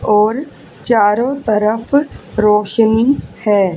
और चारों तरफ रोशनी है।